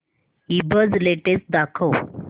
ईबझ लेटेस्ट दाखव